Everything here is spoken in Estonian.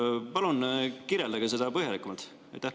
Palun kirjeldage seda põhjalikumalt!